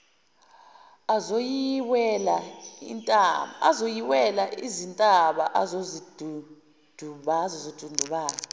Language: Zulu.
azoyiwela izintaba azozidundubala